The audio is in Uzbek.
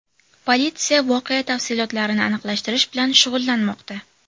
Politsiya voqea tafsilotlarini aniqlashtirish bilan shug‘ullanmoqda.